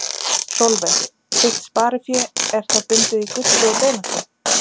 Sólveig: Þitt sparifé er það bundið í gulli og demöntum?